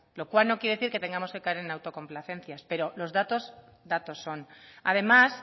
lo cual no quiere decir que tengamos que caer en la autocomplacencias pero los datos datos son además